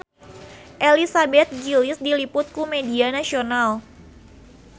Elizabeth Gillies diliput ku media nasional